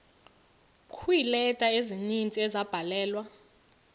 kweeleta ezininzi ezabhalelwa